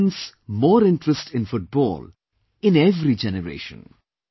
It will evince more interest in Football in every generation